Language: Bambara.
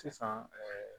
Sisan